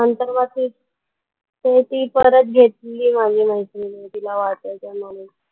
नंतर मग तेच, ते ती परत घेतली माझ्या मैत्रिणीने तिला वाचायची म्हणून.